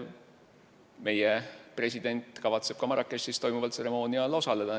Meie president kavatseb ka Marrakechis toimuval tseremoonial osaleda.